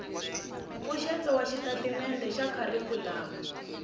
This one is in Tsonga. mpfuxeto wa xitatimende xa kharikhulamu